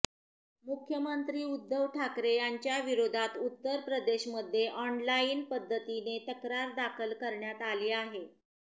मुख्यमंत्री उद्धव ठाकरे यांच्याविरोधात उत्तर प्रदेशमध्ये ऑनलाईन पद्धतीने तक्रार दाखल करण्यात आली आहे